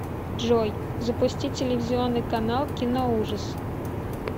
джой запустить телевизионный канал киноужас